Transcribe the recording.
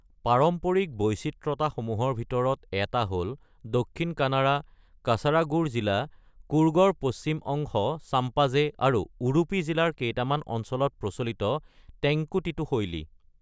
পাৰম্পৰিক বৈচিত্ৰ্যতাসমূহৰ ভিতৰত এটা হ'ল, দক্ষিণ কানাড়া, কাচাৰাগোড় জিলা, কুৰ্গৰ পশ্চিম অংশ (চাম্পাজে) আৰু উডুপী জিলাৰ কেইটামান অঞ্চলত প্ৰচলিত টেংকুটিটু শৈলী।